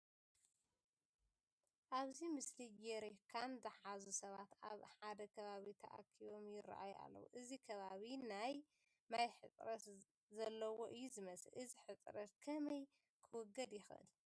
ኣብዚ ምስሊ ጀሪካን ዝሓዙ ሰባት ኣብ ሓደ ከባቢ ተኣኪቦም ይርአዩ ኣለዉ፡፡ እዚ ከባቢ ናይ ማይ ሕፅረት ዘለዎ እዩ ዝመስል፡፡ እዚ ሕፅረት ከመይ ክውገድ ይኽእል?